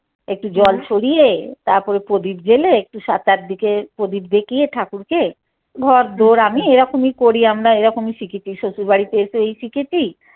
একটু জল ছড়িয়ে তারপরে পদিপ জেলে একটু সাতটার দিকে পদিপ দেখিয়ে ঠাকুরকে ধর তোর আমি এরকমই করি আমরা এরকমই শিখেছি শশুড় বাড়িতে তো এই শিখেছি।